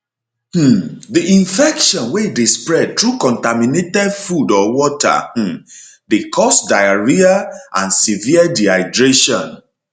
um di infection wey dey spread through contaminated food or water um dey cause diarrhoea and severe dehydration